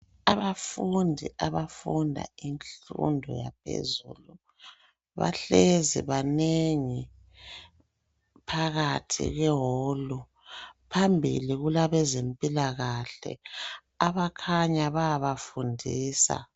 Abafundi abafunda imfundo yaphezulu, bahlezi banengi phakathi kweholu. Phambili kulabezempilakahle abakhanya bayabafundisa.